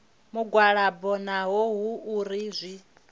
mugwalabo naho hu uri zwi